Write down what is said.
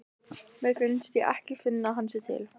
Mér finnst ég ekki finna að hann sé til.